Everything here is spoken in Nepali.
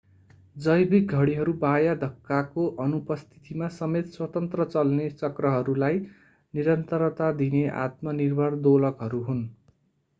जैविक घडीहरू बाह्य धक्काको अनुपस्थितिमा समेत स्वतन्त्र-चल्ने चक्रलाई निरन्तरता दिने आत्मनिर्भर दोलकहरू हुन्